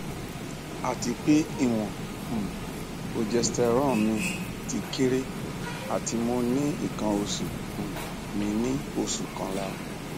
atipe iwon um progesterone mi ti kere ati mo ri ikan osu um mi ni osu kanla